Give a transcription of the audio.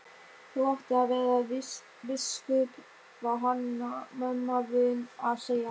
Þú áttir að verða biskup, var Hanna-Mamma vön að segja.